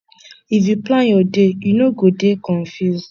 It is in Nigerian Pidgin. if you plan your day you no go dey confused